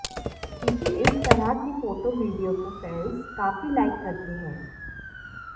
उनकी इस तरह की फोटो वीडियो को फैन्स काफी लाइक करते हैं